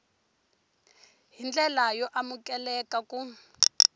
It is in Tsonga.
hi ndlela yo amukeleka ku